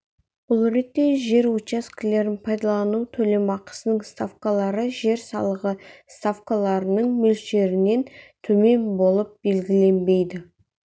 бұл ретте жер учаскелерін пайдалану төлемақысының ставкалары жер салығы ставкаларының мөлшерінен төмен болып белгіленбейді